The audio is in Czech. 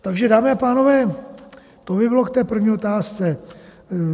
Takže dámy a pánové, to by bylo k té první otázce.